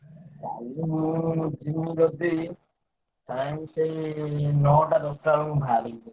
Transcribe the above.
କାଲି ମୁଁ ଯିମି ଯଦି time ସେଇ ନଅଟା ଦଶଟା ବେଳକୁ ବାହାରିବି।